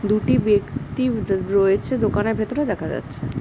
দুটি ব্যক্তি দ রয়েছে দোকানের ভিতরে দেখা যাচ্ছে।